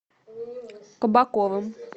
кабаковым